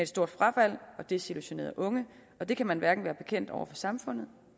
stort frafald og desillusionerede unge og det kan man hverken være bekendt over for samfundet